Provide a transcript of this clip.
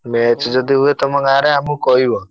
Match ଯଦି ହୁଏ ତମ ଗାଁରେ ଆମୁକୁ କହିବ।